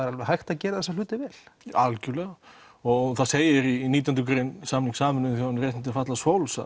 er alveg hægt að gera þessa hluti vel algjörlega og það segir í nítjándu grein samnings Sameinuðu þjóðanna um réttindi fatlaðs fólks